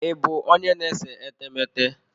Ị bụ onye na-ese etemeete?